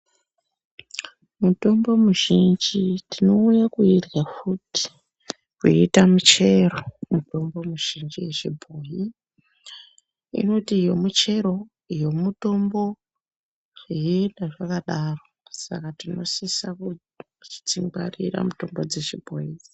Mutombo muzhinji tinouye kuirya futi kuiita michero mitombo muzhinji yechibhoyi. Inoti iyo michero, iyo mutombo, zveienda zvakadaro. Saka tinosisa kudzingwarira mutombo dzechibhoyi.